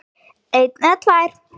eina eða tvær.